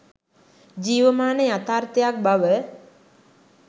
ජීවමාන යථාර්ථයක් බව